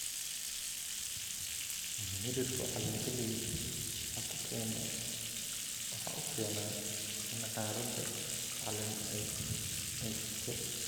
miridhku caleen galley waxa uu keenaa in caarada caleen ay engegto.